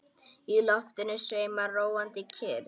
Í loftinu sveimar róandi kyrrð.